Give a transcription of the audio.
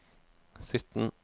sytten